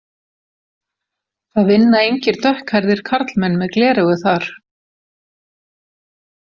Það vinna engir dökkhærðir karlmenn með gleraugu þar.